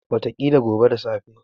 Wataƙila gobe da safe.